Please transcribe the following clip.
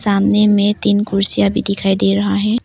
सामने में तीन कुर्सियां भी दिखाई दे रहा है।